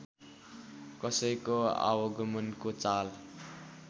कसैको आवागमनको चाल